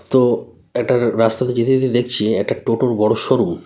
তো একটা র রাস্তাতে যেতে যেতে দেখছি একটা টোটোর বড় শোরুম ।